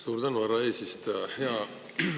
Suur tänu, härra eesistuja!